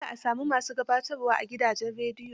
Dole a sami ma su gabatarwa a gidajen rediyo.